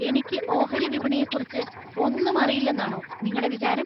എനിക്ക് ഓഹരി വിപണിയെക്കുറിച്ച് ഒന്നും അറിയില്ലെന്നാണോ നിങ്ങടെ വിചാരം?